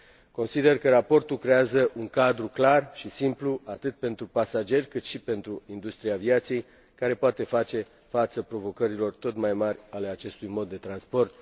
Consider că raportul creează un cadru clar și simplu atât pentru pasageri, cât și pentru industria aviației, care poate face față provocărilor tot mai mari ale acestui mod de transport.